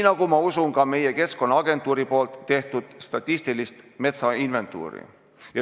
Ja ma usun ka meie Keskkonnaagentuuri tehtud statistilist metsainventuuri.